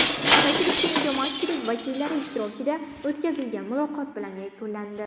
Tashrif keng jamoatchilik vakillari ishtirokida o‘tkazilgan muloqot bilan yakunlandi.